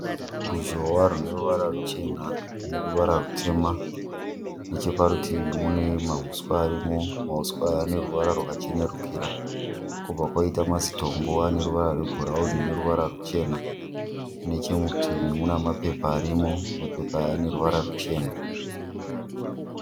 Ruzhowa rune ruvara ruchena neruvara rutema. Necheparutivi mune mahuswa arimo. Mahuswa aya ane ruvara rwakachenerukira kwobva kwaita mazitombo ane ruvara rwebhurauni neruvara ruchena. Nechemurutivi muna mapepa arimo. Mapepa aya ane ruvara ruchena.